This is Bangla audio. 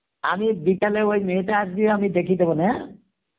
আমি বিকেল এ ওই মেয়েটা আসবে আমি দেখিয়ে দেবো নে